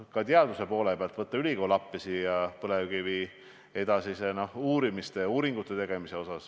Ka teaduse poole pealt – võtta ülikool appi põlevkivi edasisse uurimisse ja uuringute tegemisse.